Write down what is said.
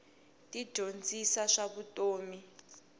ti dyondzisa swa vutomi